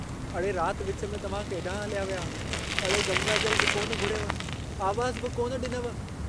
अड़े रात विच में तव्हां केडांहुं हलिया विया... अड़े गंगा जलु बि कोन घुरियव... आवाज़ बि कोन डिनव...।